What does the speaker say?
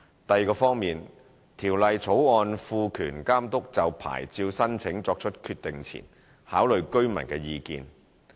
第二方面，《條例草案》賦權監督就牌照申請作出決定前考慮居民的意見。